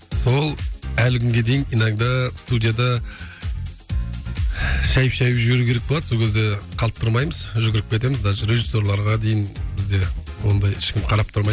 сол әлі күнге дейін иногда студияда шайып шайып жіберу керек болады сол кезде қалт тұрмаймыз жүгіріп кетеміз даже режиссерларға дейін бізде ондайда ешкім қарап тұрмайды